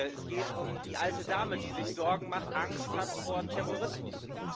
Es geht um die alte Dame, die sich Sorgen macht, Angst hat vor Terrorismus.